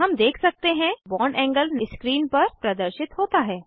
हम देख सकते हैं बॉन्ड एंगल्स स्क्रीन पर प्रदर्शित होता है